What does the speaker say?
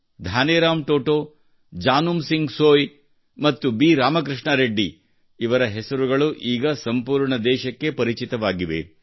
ಧಾನಿರಾಮ್ ಟೊಟೊ ಜಾನುಮ್ ಸಿಂಗ್ ಸೋಯ್ ಮತ್ತು ಬಿ ರಾಮಕೃಷ್ಣ ರೆಡ್ಡಿ ಇವರ ಹೆಸರು ಈಗ ಸಂಪೂರ್ಣ ದೇಶಕ್ಕೆ ಪರಿಚಿತವಾಗಿದೆ